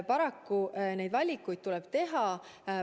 Paraku neid valikuid tuleb teha.